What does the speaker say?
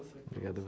Obrigado.